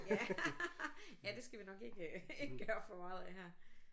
Ja ja det skal vi nok ikke øh ikke gøre for meget af her